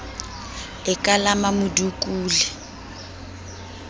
e ka la mmamodukule o